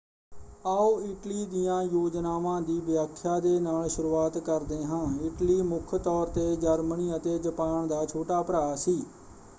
ਆਓ ਇਟਲੀ ਦੀਆਂ ਯੋਜਨਾਵਾਂ ਦੀ ਵਿਆਖਿਆ ਦੇ ਨਾਲ ਸ਼ੁਰੂਆਤ ਕਰਦੇ ਹਾਂ। ਇਟਲੀ ਮੁੱਖ ਤੌਰ 'ਤੇ ਜਰਮਨੀ ਅਤੇ ਜਪਾਨ ਦਾ ਛੋਟਾ ਭਰਾ ਸੀ।